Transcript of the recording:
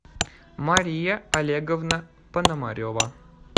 мария олеговна пономарева